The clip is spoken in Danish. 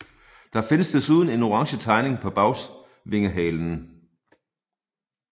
Der findes desuden en orange tegning på bagvingehalen